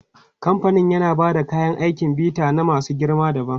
Kamfanin yana ba da kayan aikin bita na masu girma dabam.